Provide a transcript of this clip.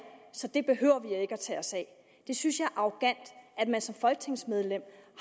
så det behøver vi ikke at tage os af jeg synes er arrogant at man som folketingsmedlem